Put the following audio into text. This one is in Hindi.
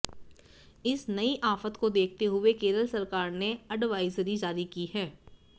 इस नई आफत को देखते हुए केरल सरकार ने अडवाइजरी जारी की है